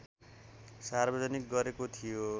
सार्वजनिक गरेको थियो